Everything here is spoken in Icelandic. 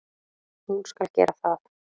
Hún skal gera það.